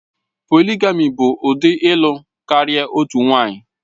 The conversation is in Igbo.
Polịgami bụ ụdị ịlụ karịa otu nwanyị